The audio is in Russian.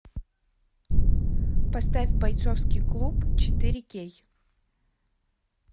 поставь бойцовский клуб четыре кей